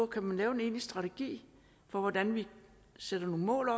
kan man lave en egentlig strategi for hvordan vi sætter nogle mål